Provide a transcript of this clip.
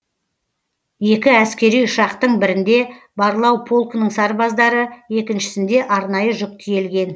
екі әскери ұшақтың бірінде барлау полкінің сарбаздары екіншісінде арнайы жүк тиелген